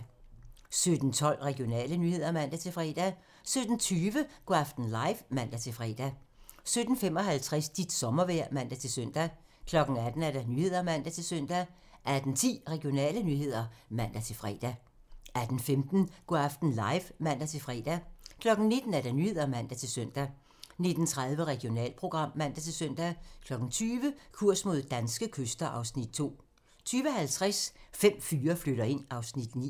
17:12: Regionale nyheder (man-fre) 17:20: Go' aften live (man-fre) 17:55: Dit sommervejr (man-søn) 18:00: Nyhederne (man-søn) 18:10: Regionale nyheder (man-fre) 18:15: Go' aften live (man-fre) 19:00: Nyhederne (man-søn) 19:30: Regionalprogram (man-søn) 20:00: Kurs mod danske kyster (Afs. 2) 20:50: Fem fyre flytter ind (Afs. 9)